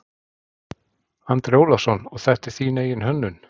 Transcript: Andri Ólafsson: Og þetta er þín eigin hönnun?